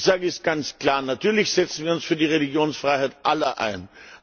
Ich sage es ganz klar Natürlich setzen wir uns für die Religionsfreiheit aller ein.